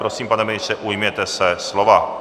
Prosím, pane ministře, ujměte se slova.